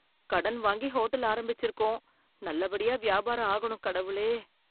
கடன் வாங்கி ஹோட்டல் ஆரம்பிச்சிருக்கோம், நல்லபடியா வியாபாரம் ஆகணும் கடவுளே.